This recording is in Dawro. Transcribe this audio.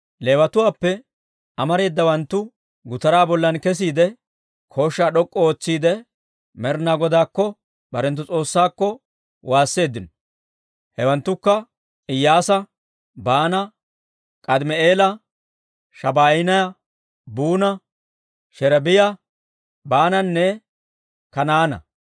Leewatuwaappe amareedawanttu shiik'uwaa bollan kesiide, kooshshaa d'ok'k'u ootsiidde Med'inaa Godaakko, barenttu S'oossaakko, waasseeddino. Hewanttukka Iyyaasa, Baana, K'aadimi'eela, Shabaaniyaa, Buuna, Sherebiyaa, Baananne Kanaana.